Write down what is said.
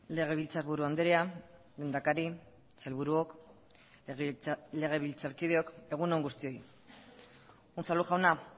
legebiltzarburu andrea lehendakari sailburuok legebiltzarkideok egun on guztioi unzalu jauna